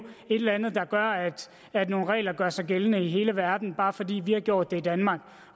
et eller andet der gør at nogle regler gør sig gældende i hele verden bare fordi vi har gjort det i danmark